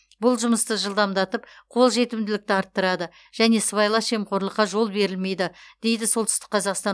бұл жұмысты жылдамдатып қолжетімділікті арттырады және сыбайлас жемқорлыққа жол берілмейді дейді солтүстік қазақстан